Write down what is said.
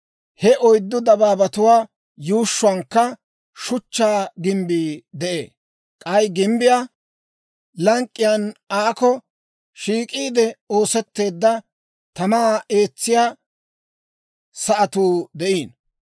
He oyddu dabaabatuwaa yuushshuwankka shuchchaa gimbbii de'ee; k'ay gimbbiyaa lank'k'iyaan aakko shiik'iide oosetteedda, tamaa eetsiyaa sa'atuu de'iino.